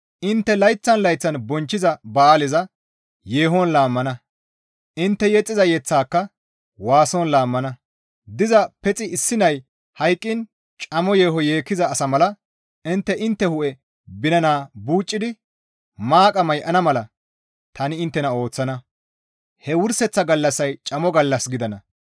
Intte layththan layththan bonchchiza ba7aaleza yeehon laammana; intte yexxiza yeththaaka waason laammana; diza pexi issi nay hayqqiin camo yeeho yeekkiza asa mala intte intte hu7e binana buucidi maaqa may7ana mala tani inttena ooththana; he wurseththa gallassay camo gallas gidana.